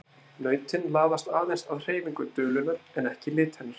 Nautin laðast aðeins að hreyfingu dulunnar en ekki lit hennar.